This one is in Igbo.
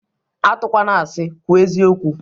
Atụkwana asị, kwuo eziokwụ!